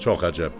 Çox əcəb.